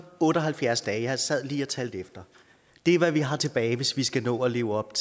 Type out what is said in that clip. otte og halvfjerds dage jeg sad lige og talte efter er hvad vi har tilbage hvis vi skal nå at leve op